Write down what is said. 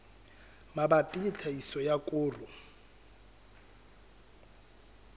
mabapi le tlhahiso ya koro